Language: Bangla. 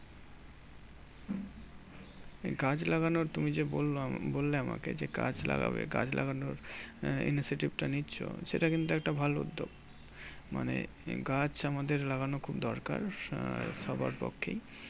গাছ লাগানোর তুমি যে বললাম বললে আমাকে যে, গাছ লাগবে। গাছ লাগানোর আহ initiative টা নিচ্ছো, সেটা কিন্তু একটা ভালো উদ্যোগ। মানে গাছ আমাদের লাগানো খুব দরকার আহ সবার পক্ষেই।